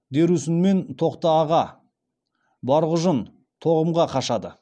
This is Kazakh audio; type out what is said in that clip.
дерусүнмен тоқтааға барғұжын тоғымға қашады